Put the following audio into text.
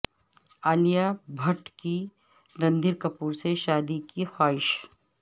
عالیہ بھٹ کی رنبیر کپور سے شادی کی خواہش